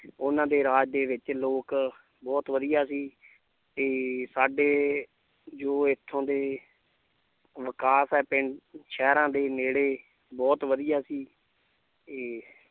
ਉਹਨਾਂ ਦੇ ਰਾਜ ਦੇ ਵਿੱਚ ਲੋਕ ਬਹੁਤ ਵਧੀਆ ਸੀ ਤੇ ਸਾਡੇ ਜੋ ਇੱਥੋਂ ਦੇ ਵਿਕਾਸ ਹੈ ਪਿੰ~ ਸ਼ਹਿਰਾਂ ਦੇ ਨੇੜੇ ਬਹੁਤ ਵਧੀਆ ਸੀ ਤੇ